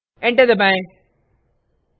enter दबाएं